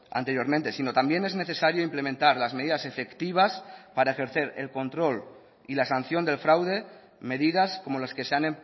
anteriormente sino también es necesario implementar las medidas efectivas para ejercer el control y la sanción del fraude medidas como las que se han